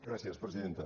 gràcies presidenta